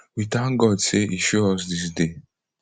we tank god say e show us dis day